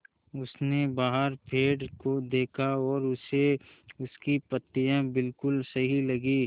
उसने बाहर पेड़ को देखा और उसे उसकी पत्तियाँ बिलकुल सही लगीं